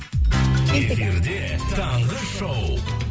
эфирде таңғы шоу